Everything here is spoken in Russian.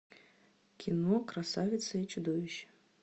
кино красавица и чудовище